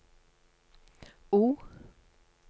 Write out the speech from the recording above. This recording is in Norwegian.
O